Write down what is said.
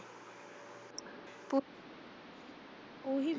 ਉਹੀਂ ਵੀਹ।